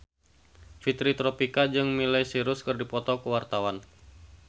Fitri Tropika jeung Miley Cyrus keur dipoto ku wartawan